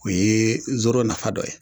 O ye zoro nafa dɔ ye